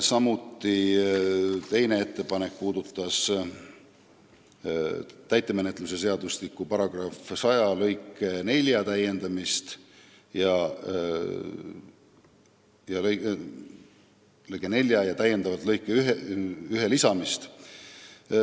Teine ettepanek puudutab täitemenetluse seadustiku § 100 lõiget 4 ja täiendava lõike 41 lisamist.